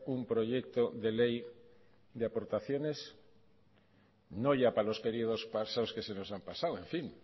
un proyecto de ley de aportaciones no ya para los periodos pasados que se nos han pasado en fin